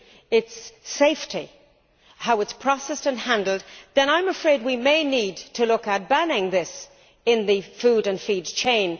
its safety and how it is processed and handled, then I am afraid we may need to look at banning this in the food and feed chain.